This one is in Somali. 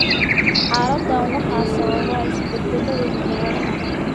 Xaaladdan waxaa sababa isbeddellada hidda-wadaha COL6A1, COL6A2, iyo COL6A3.